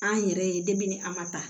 An yɛrɛ ye ni a ma ta